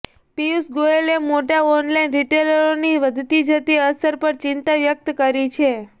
પિયુષ ગોયલે મોટા ઓનલાઈન રિટેલરોની વધતી જતી અસર પર ચિંતા વ્યક્ત કરી છે